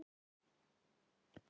Já, það væri gaman.